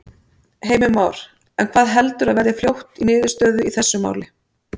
Heimir Már: En hvað heldurðu að verði fljótt í niðurstöðu í þessu máli?